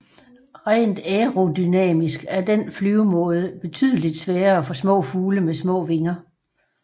Rent aerodynamisk er den flyvemåde betydeligt sværere for små fugle med små vinger